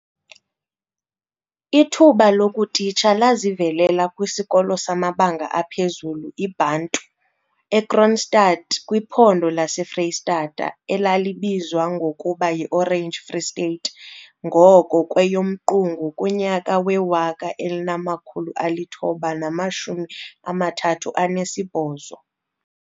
Ithuba lokutitsha lazivelela kwisikolo samabanga aphezulu, IBantu eKroonstad kwiphondo laseFreyistata, elalibizwa ngokuba yiOrange Free State ngoko kweyoMqungu, kunyaka we-1938.